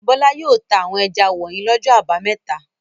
Bọ́lá yóò ta àwọn ẹja wọ̀nyí lọ́jọ́ àbámẹ́ta.